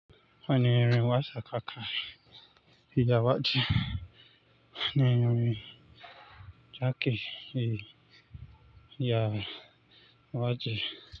Wani rin wasa kaka fiya waje. Wani rin jaki fe ya waje.